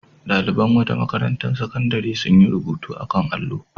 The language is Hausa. Ɗaliban wata makarantar sakandare sun yi rubutu a kan allo.